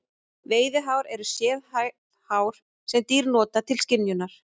Veiðihár eru sérhæfð hár sem dýr nota til skynjunar.